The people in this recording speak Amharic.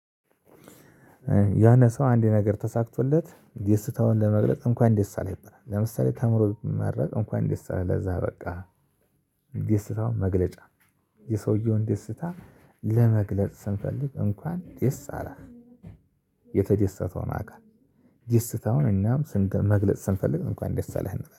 ያነ ሰው አንዴ ነገር ተሳክቶለት ደስታውን ለመግለጽ እንኳን ደስ አለህ ይባላል ለምሳሌ ተምሮ ብመረቅ እንኳን ደስ አለህ ለዛ አበቃህ ደስታውን መግለጫ የሰውየውን ደስታ ለመግለጽ ስንፈልግ እንኳን ደስ አላት። የተደሰተው አካል ደስታውን እናም ስንት መግለጽ ስንፈልግ እንኳን ደስ አለህ እንላለን